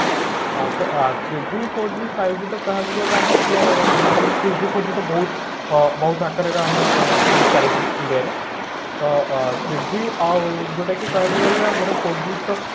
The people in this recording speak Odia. ହଁ ତ three G four G five G ତ କହିବାକୁ ଗଲେ ଆମର ତ ବର୍ତମାନ three G four G ବହୁତ ଅ ବହୁତ ଆକାରରେ ଆମେ ମାନେ ଚାଲିଛି ତ ଅ three G ଆଉ ଯୋଉଟା କି କହିବାକୁ ଗଲେ ଆମର four G ତ